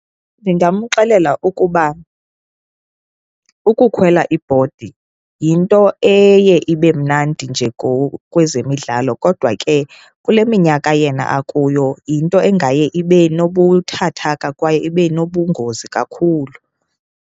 Ndingamxelela ukuba ukukhwela ibhodi yinto eye ibe mnandi nje ngokwezemidlalo, kodwa ke kule minyaka yena akuyo yinto engaye ibe nobuthathaka kwaye ibe nobungozi kakhulu.